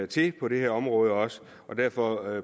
til på det her område også så derfor